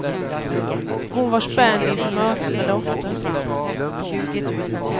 Hon var spänd inför mötet med dottern.